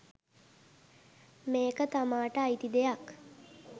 මේක තමාට අයිති දෙයක්